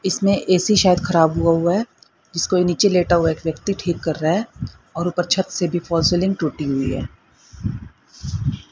इसमें ए_सी शायद खराब हुआ हुआ है जिसको नीचे लेटा व्यक्ति ठीक कर रहा है और ऊपर छत से भी फॉल सीलिंग टूटी हुई है।